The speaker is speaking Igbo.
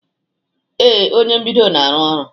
Ee, onye mbido na-arụ ọrụ